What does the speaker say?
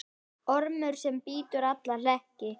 Ormur sem brýtur alla hlekki.